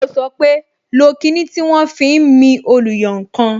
Yó sọ pé "lo kinni tí wọn fi ń mi oluyankan"